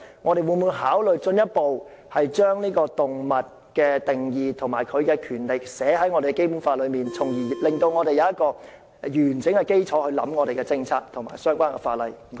我們會否考慮進一步將動物的定義及權利列入《基本法》，從而令我們有完整的基礎來考慮我們的政策和相關法例。